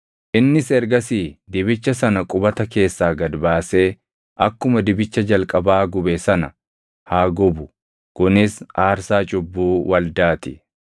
Innis ergasii dibicha sana qubata keessaa gad baasee akkuma dibicha jalqabaa gube sana haa gubu; kunis aarsaa cubbuu waldaa ti.